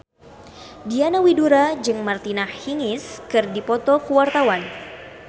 Diana Widoera jeung Martina Hingis keur dipoto ku wartawan